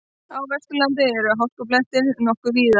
Á Vesturlandi eru hálkublettir nokkuð víða